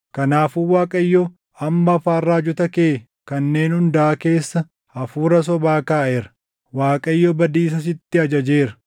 “Kanaafuu Waaqayyo amma afaan raajota kee kanneen hundaa keessa hafuura sobaa kaaʼeera. Waaqayyo badiisa sitti ajajeera.”